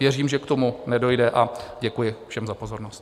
Věřím, že k tomu nedojde, a děkuji všem za pozornost.